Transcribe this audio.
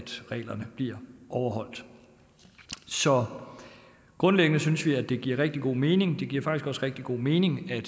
reglerne bliver overholdt så grundlæggende synes vi at det giver rigtig god mening det giver faktisk også rigtig god mening i